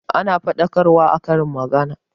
Ana faɗakarwa a karin magana